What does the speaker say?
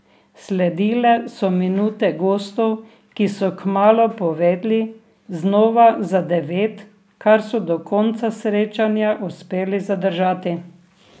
Sledile so minute gostov, ki so kmalu povedli znova za devet, kar so do konca srečanja uspeli zadržati.